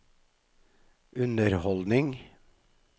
underholdningen